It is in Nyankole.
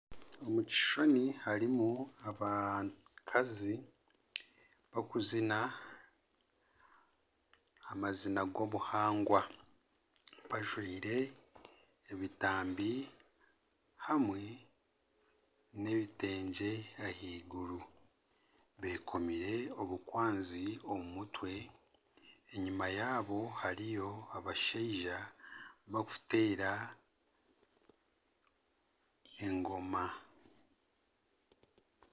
Omu kishushani harimu abakazi abarikuzina amazina g'obuhangwa bajwaire ebitambi hamwe nebitengye ahaiguru bekomire obukwanzi omu mutwe enyuma yaabo hariyo abashaija bakuteera engoma